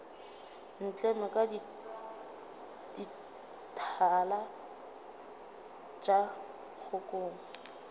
ntleme ka dithala tša kgokong